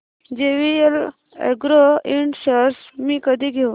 JVL agro ind shares मी कधी घेऊ